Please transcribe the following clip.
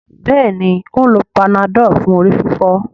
Béèni o ń ló Panadol fún orí-fífọ́.